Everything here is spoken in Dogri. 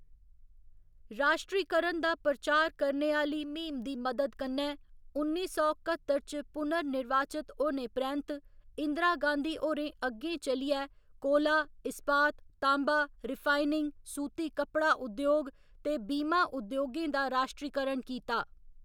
राश्ट्रीकरण दा प्रचार करने आह्‌ली म्हीम दी मदद कन्नै उन्नी सौ कत्तर च पुनर्निर्वाचत होने परैंत्त इंदिरा गांधी होरें अग्गें चलियै कोला, इस्पात, ताँबा, रिफाइनिंग, सूती कप्पड़ा उद्योग ते बीमा उद्योगें दा राश्ट्रीकरण कीता।